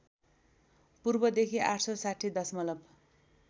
पूर्वदेखि ८६० दशमलव